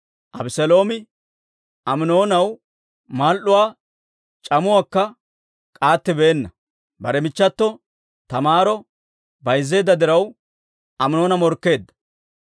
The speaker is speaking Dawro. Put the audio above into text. Abeseeloomi Aminoonaw mal"uwaa c'amuwaakka k'aattibeenna. Bare michchato Taamaaro bayzzeedda diraw, Aminoona morkkeedda.